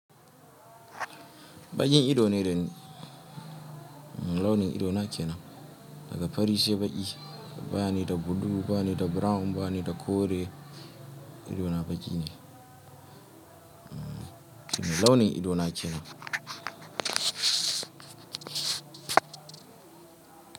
Baƙin ido ne dani launin idona kenan daga fari sai baƙi bani da blue banida brown bani da kore idona baƙi ne. Launin idona kenan.